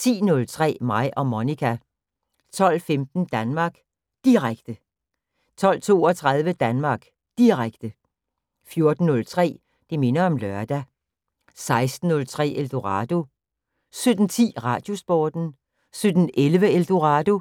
10:03: Mig og Monica 12:15: Danmark Direkte 12:32: Danmark Direkte 14:03: Det minder om lørdag 16:03: Eldorado 17:10: Radiosporten 17:11: Eldorado